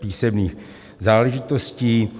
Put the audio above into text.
písemných záležitostí.